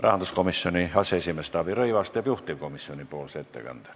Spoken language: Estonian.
Rahanduskomisjoni aseesimees Taavi Rõivas teeb juhtivkomisjoni ettekande.